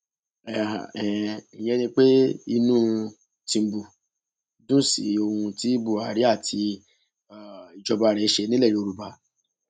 um ìyẹn ni pé inú tìǹbù dùn sí ohun tí buhari àti um ìjọba rẹ ṣe nílẹ yorùbá